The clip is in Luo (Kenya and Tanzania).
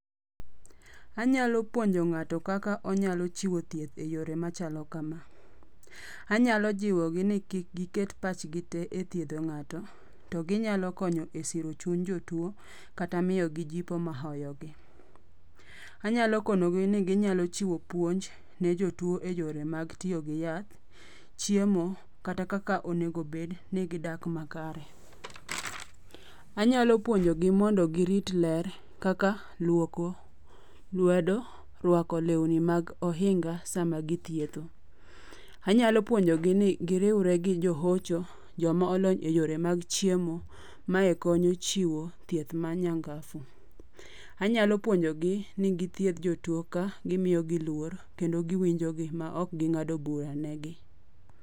Anyalo puonjo ng'ato kaka onyalo chiwo thieth e yore machalo kama; anyalo jiwogi ni kik giket pachgi te e thiedho ng'ato, to ginyalo konyo e siro chuny jotuo kata miyogi jipo mahoyogi. Anyalo kono gi ni ginyalo chiwo puonj ne jotuo e yore mag tiyo gi yath, chiemo kata kaka onego bed ni gidag makare. Anyalo puonjogi mondo girit ler kaka luoko lwedo, rwako lewni mag ohinga sama githietho. Anyalo puonjogi ni giriwre gi johocho, jomolony e yore mag chiemo, mae konyo chiwo thieth ma nyangafu. Anyalo puonjogi ni githiedh jotuo ka gimiyogi luor kendo giwinjogi maok ging'ado bura negi.